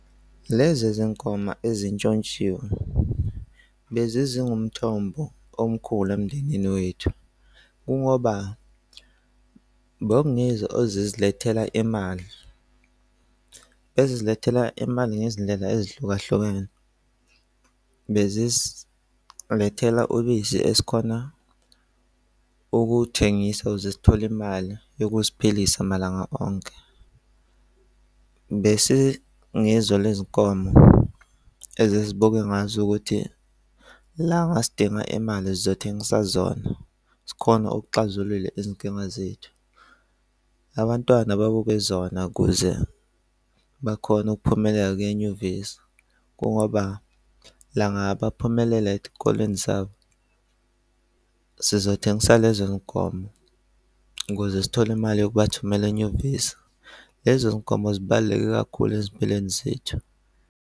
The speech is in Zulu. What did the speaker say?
Lezi zinkomo ezintshontshiwe bezingumthombo omkhulu emndenini wethu. Kungoba bekungizo ezizilethela imali bezizilethela imali ngezindlela ezihlukahlukene bezisilethela ubisi esikhona ukuthengisa ukuze sithola imali yokuziphilisa malanga onke, bese ngizo lezi nkomo ezizibuke ungazukuthi lana sidinga imali zokuthengisa zona zikhona okuxazulula izinkinga zethu. Abantwana babuke zona, ukuze bakhona ukuphumelela kuya enyuvesi kungoba la ngaphumelela ezikoleni zabo sizothenga lezo nkomo ukuze sithole imali yokuba thumela enyuvesi. Lezo zinkomo zibaluleke kakhulu ezimpelweni zethu.